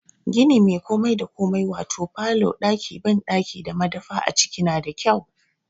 Gini mai komai da komai wato falo, ɗaki banɗaki da madafa a ciki na da kyau.